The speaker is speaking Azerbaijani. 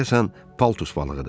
Deyəsən paltus balığıdır.